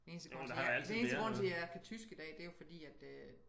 Den eneste grund til jeg den eneste grund til jeg kan tysk i dag det er jo fordi at øh